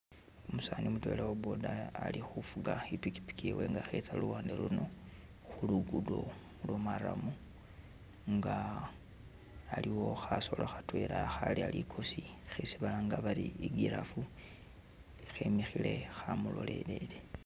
Umusaani mutwela uwa boda ali hufuga ipikipiki yewe nga hetsa luwande luno hulugudo lwo maramu nga aliwo hasolo Hatwela haleya likosi hesi balanga bari i giraffe hemihile hamulolelele